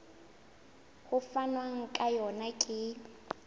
ho fanwang ka yona ke